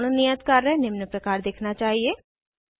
आपका पूर्ण नियत कार्य निम्न प्रकार दिखना चाहिए